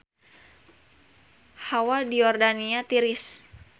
Hawa di Yordania tiris